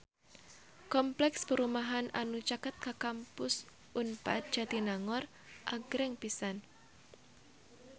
Kompleks perumahan anu caket Kampus Unpad Jatinangor agreng pisan